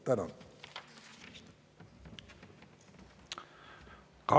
Tänan!